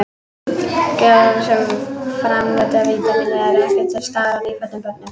Gerlar sem framleiða vítamínið eru ekki til staðar í nýfæddum börnum.